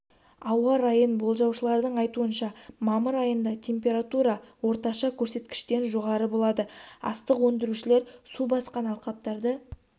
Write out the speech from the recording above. ауа райын болжаушылардың айтуынша мамыр айында температура орташа көрсеткіштен жоғары болады астық өндірушілер су басқан алқаптарды